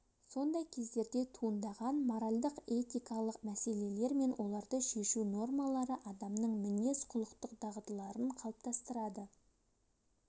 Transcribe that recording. сондай кездерде туындаған моральдық-этикалық мәселелер мен оларды шешу нормалары адамның мінез-құлықтық дағдыларын қалыптастырады